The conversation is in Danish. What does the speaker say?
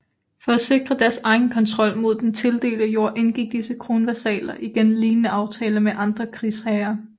For at sikre deres egen kontrol mod den tildelte jord indgik disse kronvasaller igen lignende aftaler med andre krigsherrer